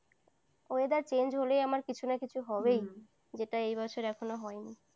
weatherchange হলে আমার কিছু না কিছু হবেই। যেটা এই বছর এখনো হয়নি।